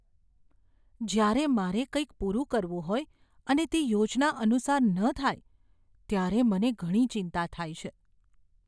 જ્યારે મારે કંઈક પૂરું કરવું હોય અને તે યોજના અનુસાર ન થાય, ત્યારે મને ઘણી ચિંતા થાય છે.